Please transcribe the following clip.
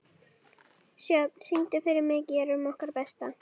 Sjöfn, syngdu fyrir mig „Gerum okkar besta“.